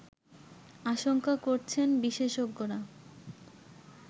আশঙ্কা করছেন বিশেষজ্ঞরা